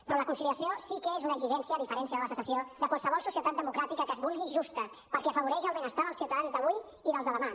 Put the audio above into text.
però la conciliació sí que és una exigència a diferència de la secessió de qualsevol societat democràtica que es vulgui justa perquè afavoreix el benestar dels ciutadans d’avui i dels de demà